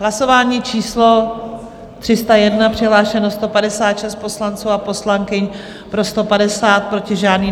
Hlasování číslo 301, přihlášeno 156 poslanců a poslankyň, pro 150, proti žádný.